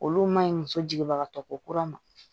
Olu ma ɲi muso jiginbagatɔ ko kura ma